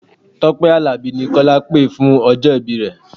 Tọ́pẹ́ Àlàbí ni Kọ́lá pè fún ọjọ́ ìbí rẹ.